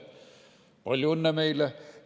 Palju õnne meile!